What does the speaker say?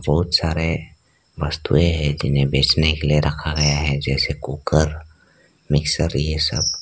बहोत सारे वस्तुएं हैं जिन्हें बेचने के लिए रखा गया है जैसे कुकर मिक्सर ये सब।